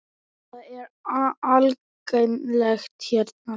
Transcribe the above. Það er algengt hérna.